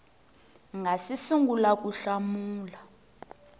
nga si sungula ku hlamula